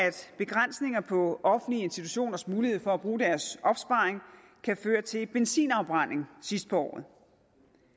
begrænsninger på offentlige institutioners mulighed for at bruge deres opsparing kan føre til benzinafbrænding sidst på at